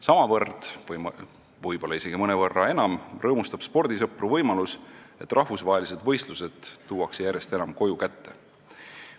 Samavõrd või võib-olla isegi mõnevõrra enam rõõmustab spordisõpru see, et rahvusvahelised võistlused tuuakse järjest enam koju kätte.